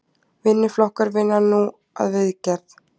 Vinnuflokkar vinna nú að viðgerð